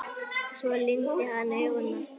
Svo lygndi hann augunum aftur.